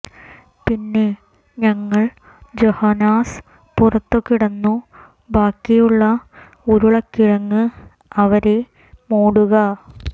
പിന്നെ ഞങ്ങൾ ജൊഹനാസ് പുറത്തു കിടന്നു ബാക്കിയുള്ള ഉരുളക്കിഴങ്ങ് അവരെ മൂടുക